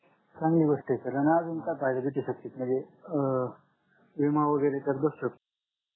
चांगली गोष्ट हे sir आणि अजून काही म्हणजे अं विमा वैगरे त्यात बसेल